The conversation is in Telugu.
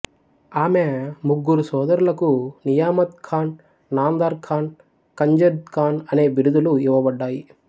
ఆమె ముగ్గురు సోదరులకు నియామత్ ఖాన్ నాందార్ ఖాన్ ఖంజద్ ఖాన్ అనే బిరుదులు ఇవ్వబడ్డాయి